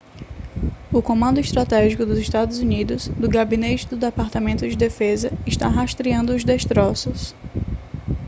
o comando estratégico dos estados unidos do gabinete do departamento de defesa está rastreando os destroços